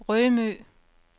Rømø